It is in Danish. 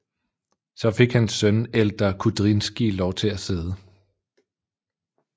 Så fik hans søn Eldar Kudrinskij lov til at sidde